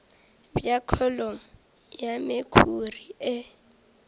bja kholomo ya mekhuri e